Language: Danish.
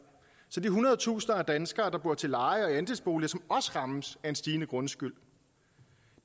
så de hundredetusinder af danskere der bor til leje og i andelsbolig som også rammes af stigende grundskyld